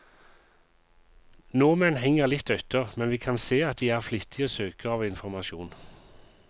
Nordmenn henger litt etter, men vi kan se at de er flittige søkere av informasjon.